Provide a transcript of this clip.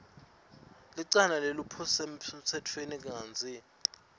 licala lesephulomtsetfo kantsi